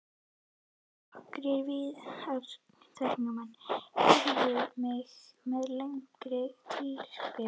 Nokkrir viðtakendur heiðruðu mig með lengri tilskrifum.